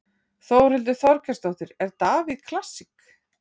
Þórhildur Þorkelsdóttir: Er Davíð klassík?